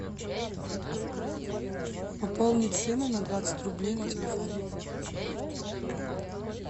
пополнить сыну на двадцать рублей на телефон